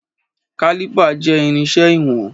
Kálìpà jẹ́ irinṣẹ́ ìwọ̀n.